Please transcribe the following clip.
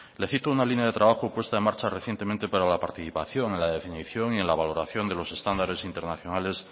le cito una línea de trabajo puesta en marcha recientemente para la participación en la definición y en la valoración de los entandares internacionales